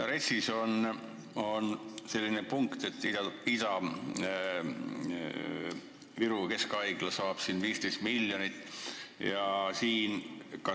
RES-is on selline punkt, et Ida-Viru Keskhaigla saab ravihoone ehituseks 15 miljonit eurot.